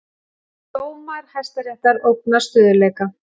Dómar Hæstaréttar ógna stöðugleika